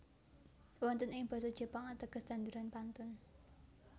Wonten ing Basa Jepang ateges tanduran pantun